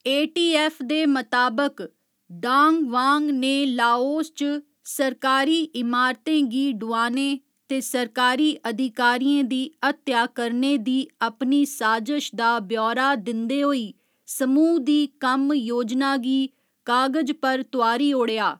ए . T . F . दे मताबक, Dang Vang ने लाओस च सरकारी इमारतें गी डुआने ते सरकारी अधिकारियें दी हत्या करने दी अपनी साजश दा ब्यौरा दिंदे होई समूह् दी कम्म योजना गी कागज पर तोआरी ओड़ेआ।